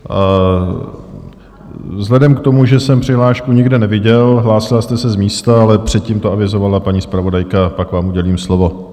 Vzhledem k tomu, že jsem přihlášku nikde neviděl, hlásila jste se z místa, ale předtím to avizovala paní zpravodajka, pak vám udělím slovo.